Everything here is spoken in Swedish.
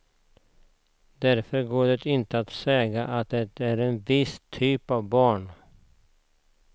Därför går det inte att säga att det är en viss typ av barn.